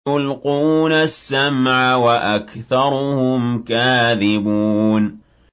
يُلْقُونَ السَّمْعَ وَأَكْثَرُهُمْ كَاذِبُونَ